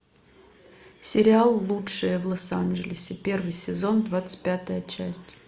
сериал лучшие в лос анджелесе первый сезон двадцать пятая часть